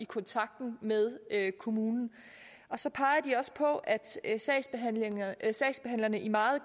kontakt med kommunen så peger de også på at sagsbehandlerne i meget